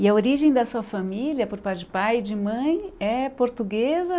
E a origem da sua família, por parte de pai e de mãe, é portuguesa?